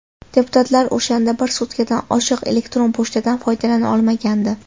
Deputatlar o‘shanda bir sutkadan oshiq elektron pochtadan foydalana olmagandi.